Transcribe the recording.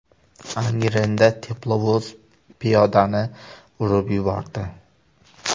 Angrenda teplovoz piyodani urib yubordi.